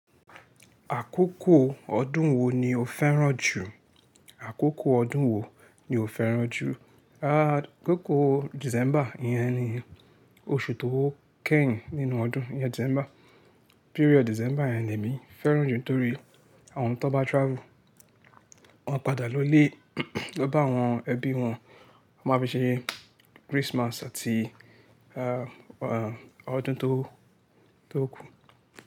Àkókò ọdún wo ni o fẹ́ràn jù? Àkókò ọdún wo ni o fẹ́ràn jù? Àkókò December yẹn ni, oṣù tó kẹ́yìn nínú ọdún, yẹn December. Period December yẹn ni èmi fẹ́ràn jù nítorí àwọn tó bá travel, wọ́n padà lọlé lọ bá àwọn ẹbí wọn, wọ́n máa fi ṣe Christmas àti, ah, ọdún tó, tó kù.